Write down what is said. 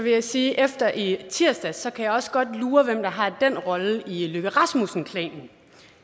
jeg sige at efter i tirsdags kan jeg også godt lure hvem der har den rolle i løkke rasmussen klanen